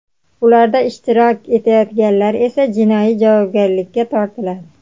ularda ishtirok etayotganlar esa jinoiy javobgarlikka tortiladi.